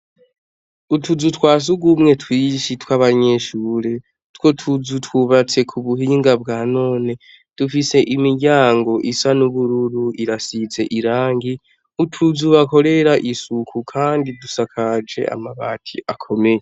utuzu twasugumwe twishi tw'abanyeshure two tuzu twubatse ku buhinga bwa none dufise imiryango isa n'ubururu irasize irangi utuzu bakorera isuku kandi dusakaje amabati akomeye